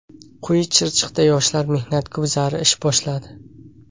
Quyi Chirchiqda yoshlar mehnat guzari ish boshladi.